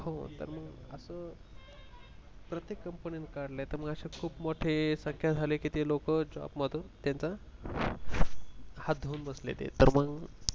हो मग असं प्रत्येक companyani काढलय तर मग असे खूप मोठ्या संख्या झाले की ते लोक जॉब मधून त्यांचा हात धुवून बसलेत ते तर मंग